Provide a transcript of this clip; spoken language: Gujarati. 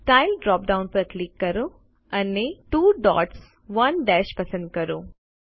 સ્ટાઇલ ડ્રોપ ડાઉન પર ક્લિક કરો અને 2 ડોટ્સ 1 દશ પસંદ કરો